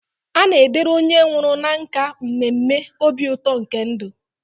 A na-edere onye nwụrụ na nkà mmemme obi ụtọ nke ndụ.